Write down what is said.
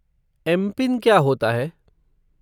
MPIN क्या होता है?